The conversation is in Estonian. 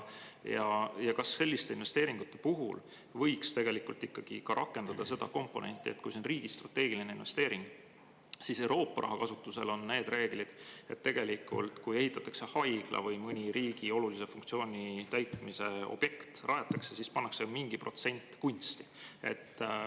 Ja kas selliste investeeringute puhul võiks ikkagi rakendada ka seda komponenti, et kui see on riigi strateegiline investeering, siis Euroopa raha kasutusele on need reeglid, et kui ehitatakse haigla või rajatakse mõni riigi olulise funktsiooni täitmise objekt, siis pannakse mingi protsent kunsti?